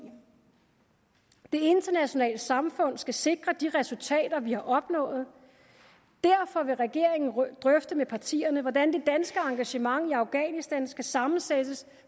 det internationale samfund skal sikre de resultater vi har opnået derfor vil regeringen drøfte med partierne hvordan det danske engagement i afghanistan skal sammensættes